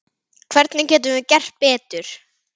Hvernig getum við gert betur?